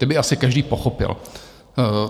Ty by asi každý pochopil.